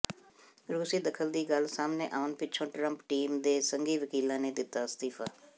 ਰੂਸੀ ਦਖਲ ਦੀ ਗੱਲ ਸਾਹਮਣੇ ਆਉਣ ਪਿੱਛੋਂ ਟਰੰਪ ਟੀਮ ਦੇ ਸੰਘੀ ਵਕੀਲ ਨੇ ਦਿੱਤਾ ਅਸਤੀਫ਼ਾ